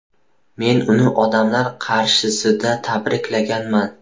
Men uni odamlar qarshisida tabriklaganman.